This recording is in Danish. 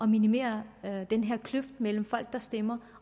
minimere den her kløft mellem folk der stemmer